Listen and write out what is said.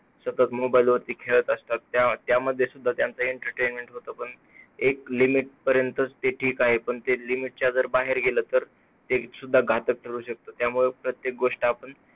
मुले सतत mobile मध्ये खेळत असतात. त्या त्यामध्ये सुद्धा त्यांचा entertainment होतं. एक limit पर्यंत त्यांचा जे काय आहे पण limit च्या बाहेर गेल तर, ते सुद्धा घातक ठरू शकत. त्यामुळे प्रत्येक गोष्ट आपण